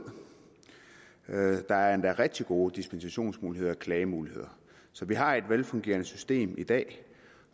der er endda rigtig gode dispensationsmuligheder og klagemuligheder så vi har et velfungerende system i dag